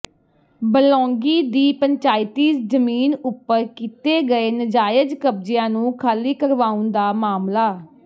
ਬਲੌਂਗੀ ਦੀ ਪੰਚਾਇਤੀ ਜਮੀਨ ਉੱਪਰ ਕੀਤੇ ਗਏ ਨਾਜਾਇਜ ਕਬਜਿਆਂ ਨੂੰ ਖਾਲੀ ਕਰਵਾਉਣ ਦਾ ਮਾਮਲਾ